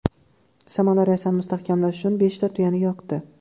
Shamanlar Rossiyani mustahkamlash uchun beshta tuyani yoqdi.